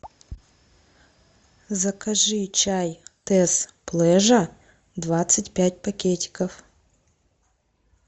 закажи чай тесс плежа двадцать пять пакетиков